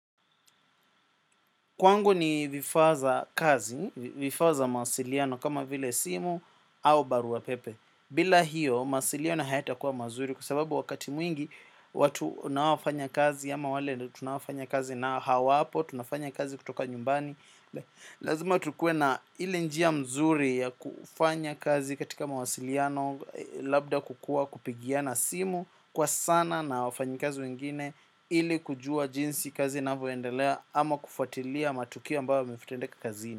Kwangu ni vifaa za kazi, vifaa za mawasiliano kama vile simu au barua pepe. Bila hiyo, mawasiliano hayatakuwa mazuri kwa sababu wakati mwingi watu unaofanya kazi, ama wale tunafanya kazi na hawapo, tunafanya kazi kutoka nyumbani. Lazima tukue na ile njia mzuri ya kufanya kazi katika mawasiliano labda kukuwa kupigiana simu. Kwa sana na wafanyikazi wengine ili kujua jinsi kazi inavyoendelea ama kufuatilia matukio ambayo yametendeka kazi.